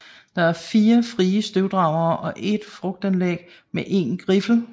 Der er 4 frie støvdragere og 1 frugtanlæg med 1 griffel